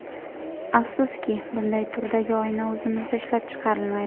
Afsuski, bunday turdagi oyna o‘zimizda ishlab chiqarilmaydi.